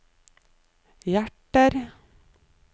hjerter